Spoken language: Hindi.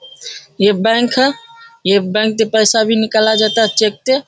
ये बैंक है ये बैंक से पैसा भी निकाला जाता है चेक ते --